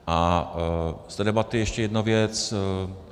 A z té debaty ještě jedna věc.